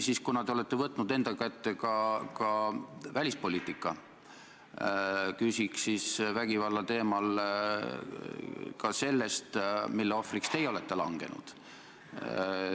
Aga kuna te olete võtnud enda kätte ka välispoliitika, siis ma küsin vägivalla teemal ka selle kohta, mille ohvriks teie olete langenud.